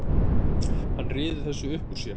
Hann ryður þessu upp úr sér.